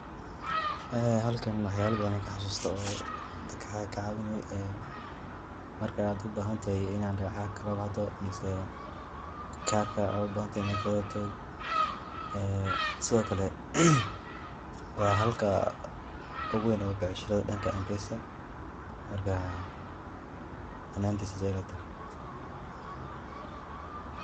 Halkan waxyabo badan ayan kaxasusta oo dadka kacawini, marka ubahantahay in ad lacag kalabaxdo mise karka ubahantahay in kagadato, sidokale wa halka oguween becsharada danka mpesada marka ani ahantey sida ayey ilatahay.